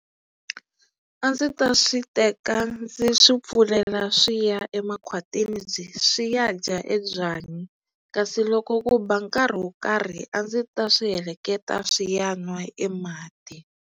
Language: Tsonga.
A ndzi ta swi teka ndzi swi pfulela swi ya emakhwatini byi swi ya dya e byanyi kasi loko ku ba nkarhi wo karhi a ndzi ta swi heleketa swi ya nwa e mati.